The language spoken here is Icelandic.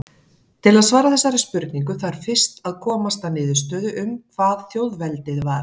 Til að svara þessari spurningu þarf fyrst að komast að niðurstöðu um hvað þjóðveldið var.